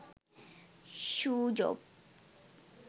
shoe job